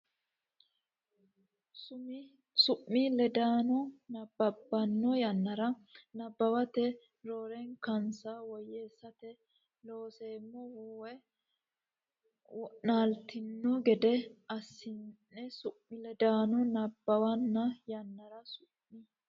Su mi ledaano nabbabbanno yannara nabbawate rankensa woyyeessate Looseemmo wo naaltanno gede assinsa Su mi ledaano nabbabbanno yannara Su mi.